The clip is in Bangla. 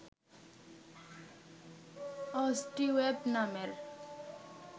অস্টিওয়েড নামের